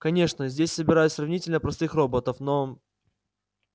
конечно здесь собирают сравнительно простых роботов но